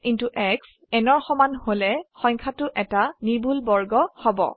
x শ্ব n ৰ সমান হল সংখ্যাটো এটা নিৰ্ভুল বৰ্গ হব